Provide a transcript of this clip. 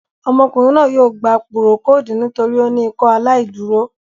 Ọmọkùnrin náà yóò gbà púrókòdù nítorí pé o ni Ìkọaláìdúrò